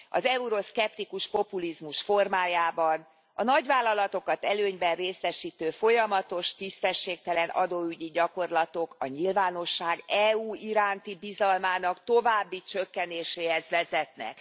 az euroszkeptikus populizmus formájában, a nagyvállalatokat előnyben részesítő folyamatos tisztességtelen adóügyi gyakorlatok a nyilvánosság EU iránti bizalmának további csökkenéséhez vezethetnek.